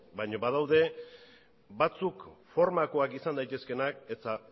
baino badaude batzuk formakoak izan daitezkeenak eta